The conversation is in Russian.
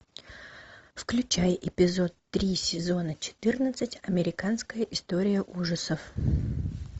включай эпизод три сезона четырнадцать американская история ужасов